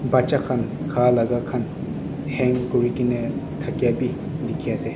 Bacha khan kha laga khan hang kurikeneh thakya bhi dekhe ase.